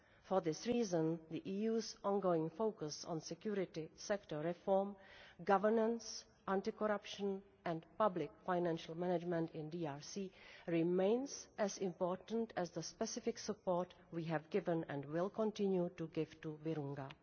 For this reason, the EU's ongoing focus on security sector reform, governance, anti corruption and public financial management in the DRC remains as important as the specific support we have given and will continue to give to Virunga.